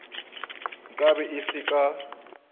nka be ke se ka